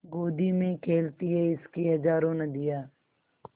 गोदी में खेलती हैं इसकी हज़ारों नदियाँ